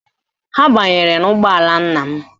Ha banyere n'ụgbọala nna m